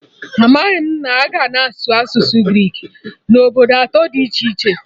Amaghị m na a na-asụ asụsụ Greek na obodo atọ dị iche iche